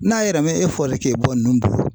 N'a yɛrɛ mɛn e fɔli k'e bɔ ninnu bolo